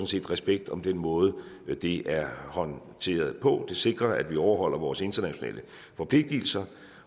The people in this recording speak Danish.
set respekt om den måde det er håndteret på det sikrer at vi overholder vores internationale forpligtelser